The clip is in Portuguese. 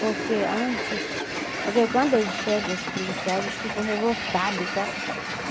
Porque antes... Porque quando eles chegam, os policiais, eles ficam revoltados, sabe?